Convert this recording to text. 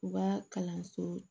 U ka kalanso